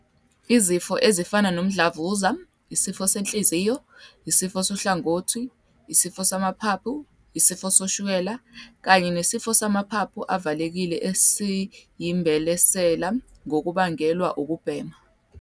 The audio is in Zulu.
"Izifo ezifana nomdlavuza, isifo senhliziyo, isifo sohlangothi, isifo samaphaphu, isifo sikashukela kanye nesifo samaphaphu avalekile esiyimbelesela kungabangelwa ukubhema."